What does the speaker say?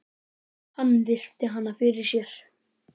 Hann virti hana fyrir sér.